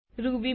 Ruby